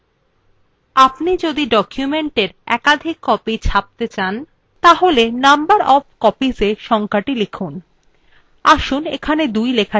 আপনি যদি document একাধিক copies ছাপতে চান তাহলে number of copiesত়ে সংখ্যাটি লিখুন আসুন এখানে 2 লেখা যাক